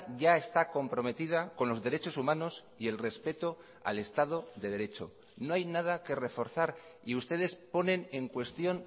ya está comprometida con los derechos humanos y el respeto al estado de derecho no hay nada que reforzar y ustedes ponen en cuestión